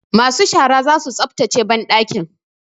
Masu shara za su tsaftace banɗakin.